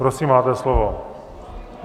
Prosím, máte slovo.